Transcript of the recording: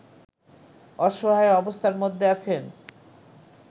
অসহায় অবস্থার মধ্যে আছেন